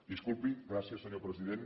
disculpi gràcies senyor president